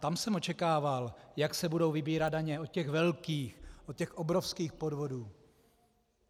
Tam jsem očekával, jak se budou vybírat daně od těch velkých, od těch obrovských podvodů.